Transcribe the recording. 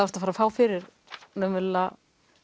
ert að fara að fá fyrir raunverulega